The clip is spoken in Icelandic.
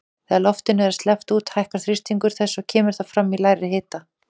Þegar loftinu er sleppt út lækkar þrýstingur þess og kemur það fram í lægri hita.